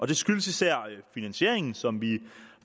det skyldes især finansieringen som vi